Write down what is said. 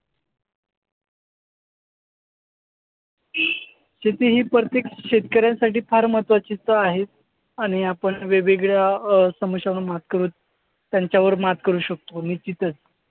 शेती ही प्रत्येक शेतकऱ्यासाठी फार महत्वाची तर आहेच आणि आपण वेगवेगळ्या अं समस्यांवर मात करत त्यांच्यावर मात करू शकतो निश्चितच.